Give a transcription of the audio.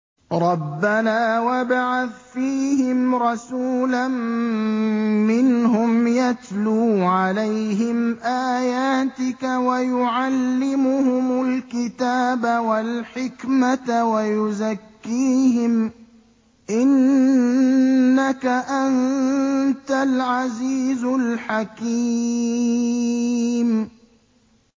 رَبَّنَا وَابْعَثْ فِيهِمْ رَسُولًا مِّنْهُمْ يَتْلُو عَلَيْهِمْ آيَاتِكَ وَيُعَلِّمُهُمُ الْكِتَابَ وَالْحِكْمَةَ وَيُزَكِّيهِمْ ۚ إِنَّكَ أَنتَ الْعَزِيزُ الْحَكِيمُ